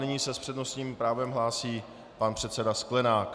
Nyní se s přednostním právem hlásí pan předseda Sklenák.